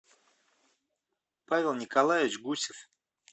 павел николаевич гусев